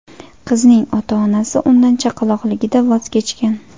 Qizning ota-onasi undan chaqaloqligida voz kechgan.